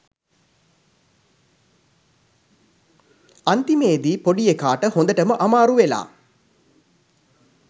අන්තිමේදී පොඩි එකාට හොඳටම අමාරු වෙලා